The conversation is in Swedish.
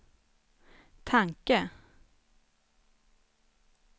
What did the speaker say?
tanke